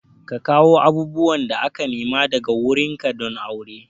Ka kawo abubuwan da aka nema daga wurin ka don auren?